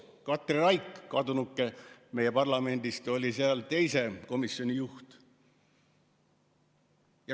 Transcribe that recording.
Katri Raik, kes nüüdseks on meie parlamendist läinud, oli siis teise komisjoni juht.